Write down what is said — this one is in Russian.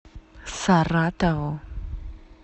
саратову